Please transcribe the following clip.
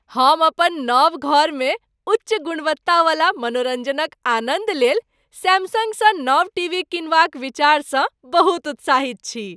हम अपन नव घरमे उच्च गुणवत्तावला मनोरंजनक आनन्द लेल सैमसंगसँ नव टीवी किनबाक विचारसँ बहुत उत्साहित छी।